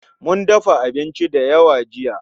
Mun dafa abinci da yawa jiya